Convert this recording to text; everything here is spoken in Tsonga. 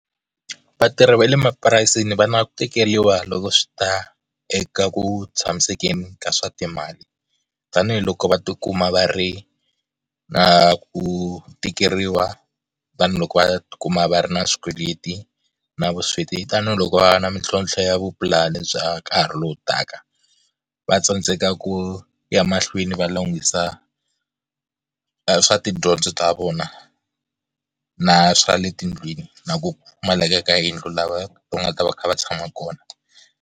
Vatirhi va le mapurasini va na ku tikeriwa loko swi ta eka ku tshamisekeni ka swa timali, tanihiloko va tikuma va ri na ku tikeriwa, vanhu loko va kuma va ri na swikweleti na vusweti, tanihiloko va na mitlhontlho ya vupulani bya nkarhi lowu taka. Va tsandzeka ku ya mahlweni va lunghisa swa tidyondzo ta vona na swa le tindlwini na ku pfumaleka ka yindlu laha va nga ta va kha va tshama kona.